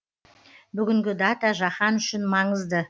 бүгінгі дата жаһан үшін маңызды